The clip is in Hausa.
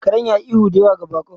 Karen ya yi ihu da yawa ga baƙon.